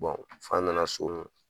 f'an nana so